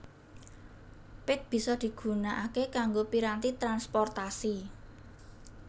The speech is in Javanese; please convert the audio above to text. Pit bisa digunakake kanggo piranti transportasi